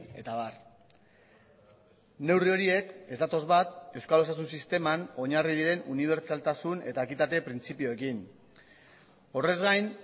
eta abar neurri horiek ez datoz bat euskal osasun sisteman oinarri diren unibertsaltasun eta ekitate printzipioekin horrez gain